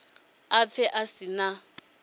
a pfe a si na